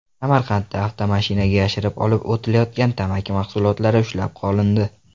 Samarqandda avtomashinaga yashirib olib o‘tilayotgan tamaki mahsulotlari ushlab qolindi.